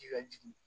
Ji ka jigin